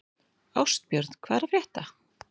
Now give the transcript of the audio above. Ástbjörn, hvað er að frétta?